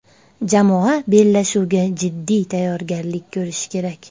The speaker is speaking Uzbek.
Jamoa bellashuvga jiddiy tayyorgarlik ko‘rishi kerak.